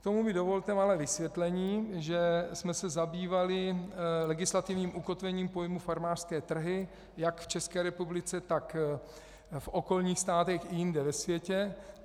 K tomu mi dovolte malé vysvětlení, že jsme se zabývali legislativním ukotvením pojmu farmářské trhy jak v České republice, tak v okolních státech i jinde ve světě.